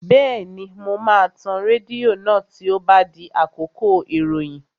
Bẹ́ẹ̀ni, mo máa tan rédíò náà tí ó bá di àkókò ìròyìn